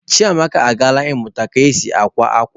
Chiamaka agaala ịmụta ka e si akwa akwa